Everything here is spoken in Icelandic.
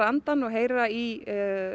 andann og heyra í